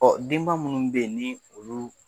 denba minnu bɛ ye ni olu